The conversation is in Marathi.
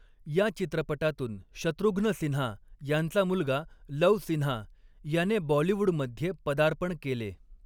या चित्रपटातून शत्रुघ्न सिन्हा यांचा मुलगा लव सिन्हा याने बॉलिवूडमध्ये पदार्पण केले.